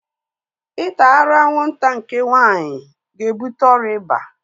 Ịta arụ anwụnta nke nwaanyị ga-ebuta ọrịa iba